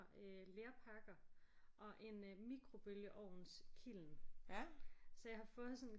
Øh lerpakker og en øh mikrobølgeovnskiln så jeg har fået sådan